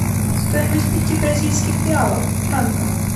стоимость пяти бразильских реалов в франках